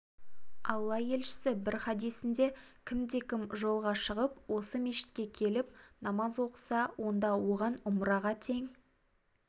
алла елшісі бір хадисінде кімде-кім жолға шығып осы мешітке келіп намаз оқыса онда оған ұмраға тең